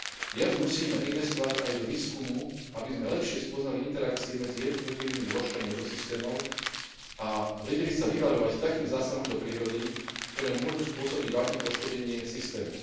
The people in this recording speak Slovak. Viac musíme investovať aj do výskumu, aby sme lepšie spoznali interakcie medzi jednotlivými zložkami ekosystémov a vedeli sa vyvarovať takých zásahov do prírody, ktoré môžu spôsobiť vážne poškodenie systému.